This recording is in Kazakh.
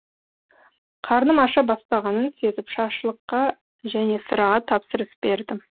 қарным аша бастағанын сезіп шашлыкқа және сыраға тапсырыс бердім